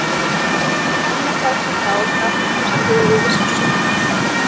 En ég afneitaði því þá, gat ekki horfst í augu við sársaukann.